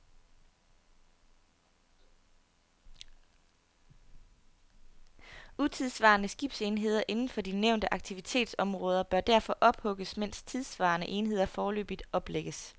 Utidssvarende skibsenheder inden for de nævnte aktivitetsområder bør derfor ophugges, mens tidssvarende enheder foreløbigt oplægges.